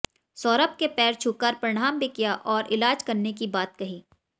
सौरभ के पैर छूकर प्रणाम भी किया और इलाज करने की बात कही